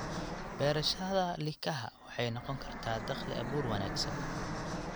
Beerashada likaha waxay noqon kartaa dakhli-abuur wanaagsan.